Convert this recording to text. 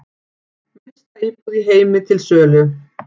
Minnsta íbúð í heimi til sölu